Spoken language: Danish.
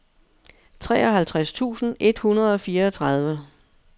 treoghalvtreds tusind et hundrede og fireogtredive